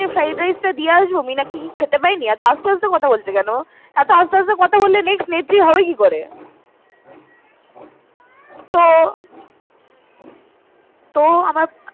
গিয়ে fried rice টা দিয়ে আসবো? মীনাক্ষী কি খেতে পায়নি? এতো আস্তে আস্তে কথা বলছে কেন ও?